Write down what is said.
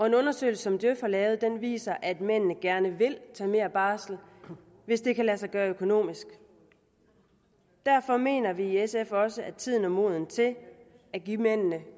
en undersøgelse som djøf har lavet viser at mændene gerne vil tage mere barsel hvis det kan lade sig gøre økonomisk derfor mener vi i sf også at tiden er moden til at give mændene